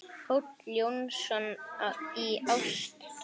Páll Jónsson í Ástúni